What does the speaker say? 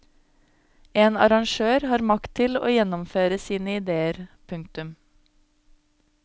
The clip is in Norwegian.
En arrangør har makt til å gjennomføre sine ideer. punktum